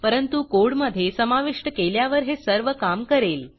परंतु कोडमधे समाविष्ट केल्यावर हे सर्व काम करेल